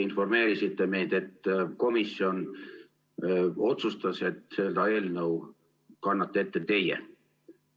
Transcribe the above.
Informeerisite meid, et komisjon otsustas, et seda eelnõu kannate ette teie.